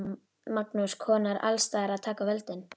Magnús: Konur alls staðar að taka völdin?